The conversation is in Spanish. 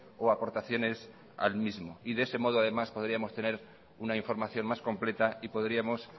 o aportaciones al mismo y de ese modo además podríamos tener una información más completa y podríamos